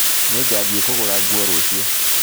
Nĩngathiĩ kũgũra nguo rũciũ